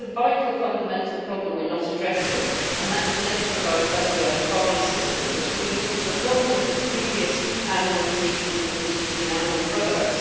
But there is a vital fundamental problem we are not addressing, and that is the nature of our industrialised farming system, which has been linked to a long list of previous animal diseases and diseases in animal products.